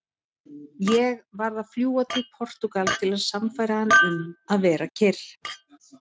Ég varð að fljúga til Portúgal til að sannfæra hann um að vera kyrr.